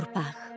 Torpaq.